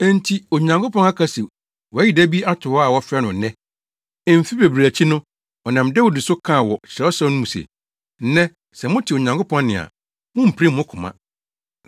Enti Onyankopɔn aka se wayi da bi ato hɔ a wɔfrɛ no “Nnɛ.” Mfe bebree akyi no, ɔnam Dawid so kaa wɔ Kyerɛwsɛm no mu se, “Nnɛ, sɛ mote Onyankopɔn nne a mummpirim mo koma.”